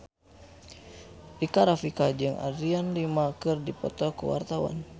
Rika Rafika jeung Adriana Lima keur dipoto ku wartawan